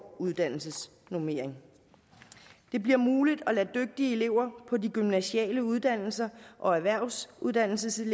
uddannelsesnormeringen det bliver muligt at lade dygtige elever på de gymnasiale uddannelser og erhvervsuddannelserne